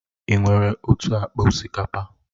Ị nwere otu akpa osikapa?